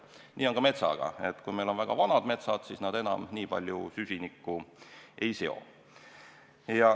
Nii on ka metsaga: kui meil on väga vanad metsad, siis nad enam nii palju süsiniku ei seo.